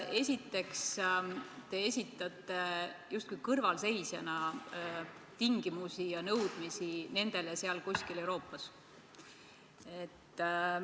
Esiteks, te esitate justkui kõrvalseisjana tingimusi ja nõudmisi nendele seal kuskil Euroopas.